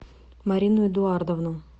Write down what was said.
марину эдуардовну